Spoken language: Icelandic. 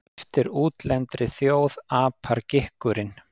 Eftir útlendri þjóð apar gikkurinn.